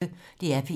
DR P1